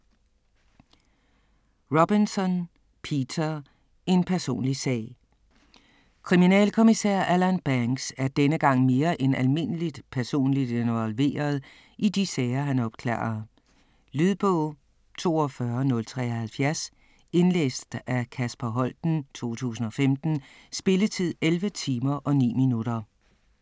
Robinson, Peter: En personlig sag Kriminalkommissær Alan Banks er denne gang mere end almindeligt personligt involveret i de sager han opklarer. Lydbog 42073 Indlæst af Kasper Holten, 2015. Spilletid: 11 timer, 9 minutter.